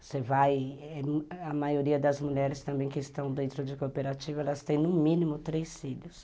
Você vai... A maioria das mulheres também que estão dentro de cooperativa, elas têm no mínimo três filhos.